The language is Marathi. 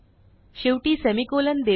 शेवटी सेमिकोलॉन देऊ